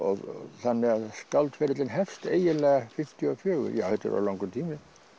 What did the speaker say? þannig að skáldferillinn hefst eiginlega fimmtíu og fjögur já þetta er orðinn langur tími